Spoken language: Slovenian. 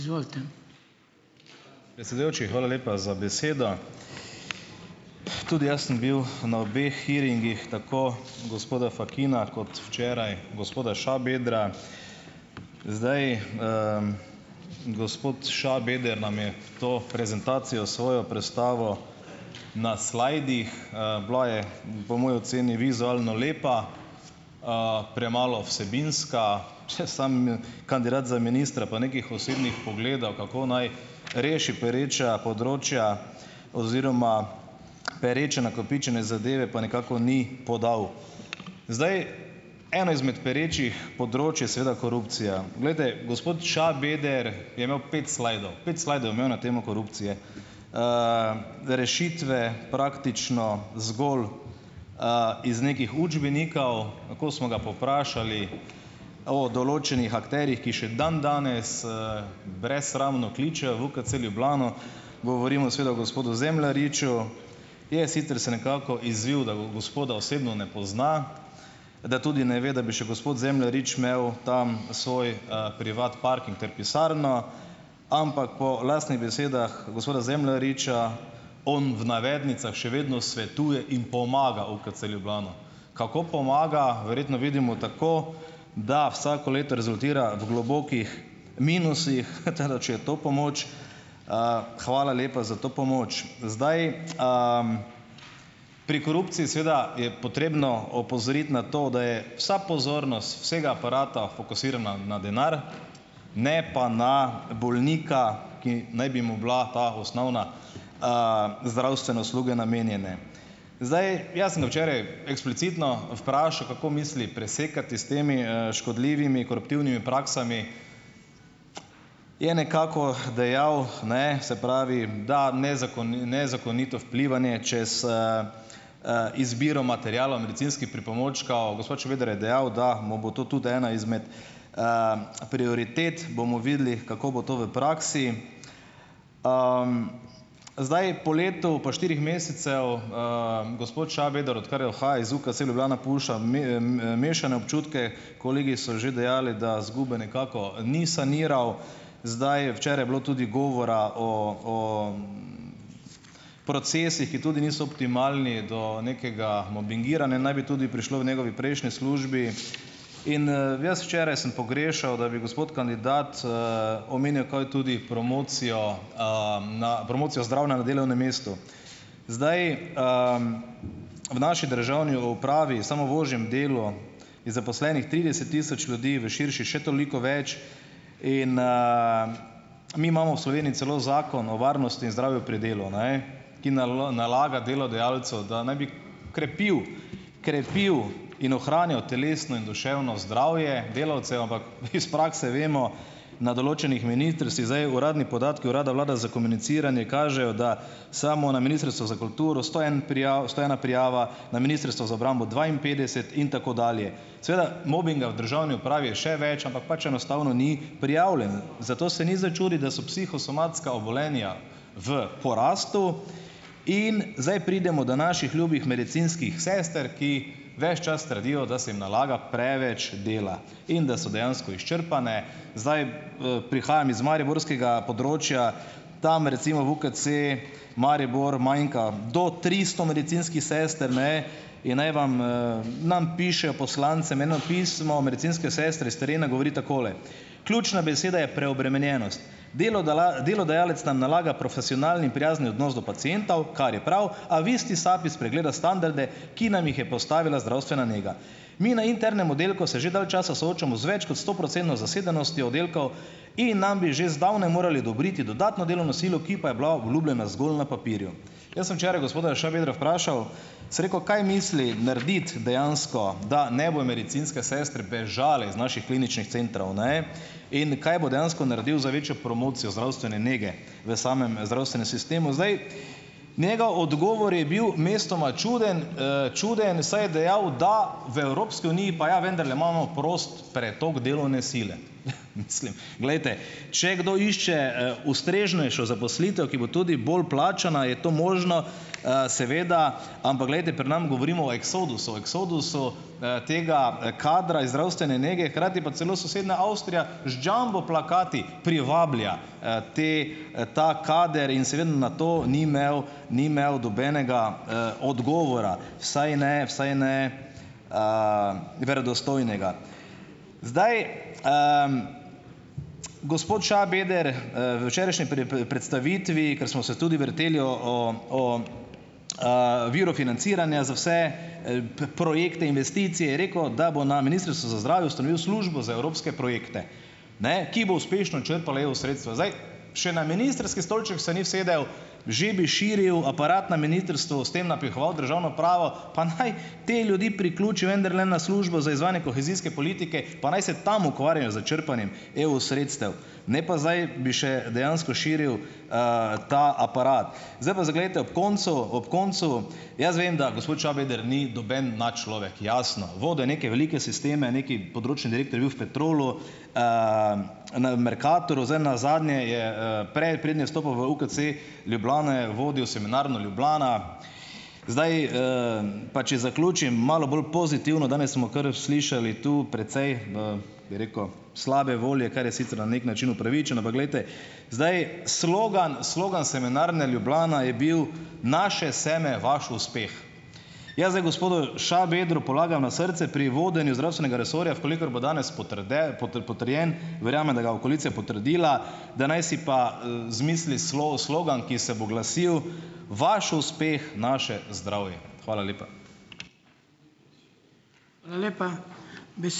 Predsedujoči, hvala lepa za besedo. Tudi jaz sem bil na obeh hearingih, tako gospoda Fakina kot včeraj gospoda Šabedra. Zdaj, gospod Šabeder nam je to prezentacijo svojo prestavil na slidih. Bila je, po moji oceni, vizualno lepa, premalo vsebinska, vse, samo kandidat za ministra pa nekih osebnih pogledov, kako naj reši pereča področja oziroma pereče nakopičene zadeve, pa nekako ni podal. Zdaj, eno izmed perečih področij je seveda korupcija. Glejte, gospod Šabeder je imel pet slidov. Pet slidov je imel na temo korupcije. Rešitve, praktično zgolj iz nekih učbenikov. Ko smo ga pa vprašali o določenih akterjih, ki še dandanes, brezsramno kličejo v UKC Ljubljano, govorimo seveda o gospodu Zemljariču, je sicer se nekako izvil, da gospoda osebno ne pozna, da tudi ne ve, da bi še gospod Zemljarič imel tam svoj, privat parking ter pisarno, ampak po lastnih besedah gospoda Zemljariča on v navednicah še vedno svetuje in pomaga UKC Ljubljana. Kako pomaga, verjetno vidimo tako, da vsako leto rezultira v globokih minusih, tako da, če je to pomoč, hvala lepa za to pomoč. Zdaj, pri korupciji seveda je potrebno opozoriti na to, da je vsa pozornost vsega aparata fokusirana na denar, ne pa na bolnika, ki naj bi mu bile te osnovne zdravstvene usluge namenjene. Zdaj, jaz sem ga včeraj eksplicitno vprašal, kako misli presekati s temi, škodljivimi, koruptivnimi praksami. Je nekako dejal, ne, se pravi, da nezakonito vplivanje čez izbiro materiala, medicinskih pripomočkov, gospod Šebeder je dejal, da mu bo to tudi ena izmed prioritet. Bomo videli, kako bo to v praksi. Zdaj, po letu pa štirih mesecev gospod Šabeder, odkar je, oha, iz UKC Ljubljana, pušča mešane občutke. Kolegi so že dejali, da izgube nekako ni saniral. Zdaj je včeraj bilo tudi govora o procesih, ki tudi niso optimalni, do nekega mobingiranja naj bi tudi prišlo v njegovi prejšnji službi, in, jaz včeraj sem pogrešal, da bi gospod kandidat omenil, kaj tudi promocijo, promocijo zdravja na delovnem mestu. Zdaj, v naši državni upravi, samo v ožjem delu, je zaposlenih trideset tisoč ljudi, v širši še toliko več in, mi imamo v Sloveniji celo Zakon o varnosti in zdravju pri delu, ne. Ki nalaga delodajalcu, da naj bi krepil, krepil in ohranjal telesno in duševno zdravje delavcev, ampak mi iz prakse vemo, na določenih ministrstvih, zdaj, uradni podatki urada vlade za komuniciranje kažejo, da samo na Ministrstvu za kulturo - prijav sto ena prijava, na Ministrstvu za obrambo dvainpetdeset in tako dalje. Seveda, mobinga v državni upravi je še več, ampak pač enostavno ni prijavljen. Zato se ni za čuditi, da so psihosomatska obolenja v porastu, in zdaj pridemo do naših ljubih medicinskih sester, ki veš čas trdijo, da se jim nalaga preveč dela. In da so dejansko izčrpane. Zdaj, prihajam iz mariborskega področja, tam, recimo, v UKC Maribor manjka do tristo medicinskih sester, ne. In naj vam, nam pišejo, poslancem, eno pismo medicinske sestre s terena, govori takole: "Ključna beseda je preobremenjenost. delodajalec nam nalaga profesionalen in prijazen odnos do pacientov, kar je prav, a v isti sapi spregleda standarde, ki nam jih je postavila zdravstvena nega. Mi na internem oddelku se že dalj časa soočamo z več kot stoprocentno zasedenostjo oddelkov in nam bi že zdavnaj morali odobriti dodatno delovno silo, ki pa je bila obljubljena zgolj na papirju. Jaz sem včeraj gospoda Šabedra vprašal, sem rekel, kaj misli narediti dejansko, da ne bodo medicinske sestre bežale iz naših kliničnih centrov, ne, in kaj bo dejansko naredil za večjo promocijo zdravstvene nege v samem zdravstvenem sistemu, zdaj. Njegov odgovor je bil mestoma čuden, čuden, saj je dejal, da v Evropski uniji pa ja vendarle imamo prost pretok delovne sile. Mislim, glejte, če kdo išče ustreznejšo zaposlitev, ki bo tudi bolj plačana, je to možno, seveda, ampak glejte pri nas govorimo o eksodusu, eksodusu, tega, kadra iz zdravstvene nege, hkrati pa celo sosednja Avstrija z jumbo plakati privablja, te, ta kader, na to ni imel ni imel nobenega, odgovora, vsaj ne, vsaj ne verodostojnega. Zdaj Gospod Šabeder, v včerajšnji predstavitvi, ker smo se tudi vrteli o o viru financiranja za vse, projekte investicij, je rekel, da bo na Ministrstvu za zdravje ustanovil službo za evropske projekte, ne, ki bo uspešno črpala EU sredstva, zdaj. Še na ministrski stolček se ni usedel, že bi širil aparat na ministrstvu, s tem napihoval državno pravo, pa naj te ljudi priključi vendarle na službo za izvajanje kohezijske politike pa naj se tam ukvarjajo s črpanjem EU sredstev, ne pa zdaj bi še dejansko širil ta aparat. Zdaj pa za glejte, ob koncu, ob koncu jaz vem, da gospod Šabeder ni noben nadčlovek, jasno, vodil je neke velike sisteme, neki področni direktor je bil v Petrolu, na Mercatorju, zdaj nazadnje je, prej, preden je vstopil v UKC Ljubljana, je vodil Semenarno Ljubljana. Pa če zaključim malo bolj pozitivno, danes smo kar slišali tu precej v, bi rekel, slabe volje, kar je sicer na neki način upravičeno, pa glejte, zdaj, slogan slogan Semenarne Ljubljana je bil "Naše seme, vaš uspeh". Jaz zdaj gospodu Šabedru polagam na srce pri vodenju zdravstvenega resorja, v kolikor bo danes potrjen, verjamem, da ga bo koalicija potrdila, da naj si pa pa, zamislili slogan, ki se bo glasil: "Vaš uspeh, naše zdravje." Hvala lepa.